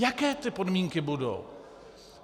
Jaké ty podmínky budou?